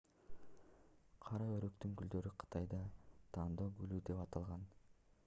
кара өрүктүн гүлдөрү кытайда тандоо гүлү деп аталган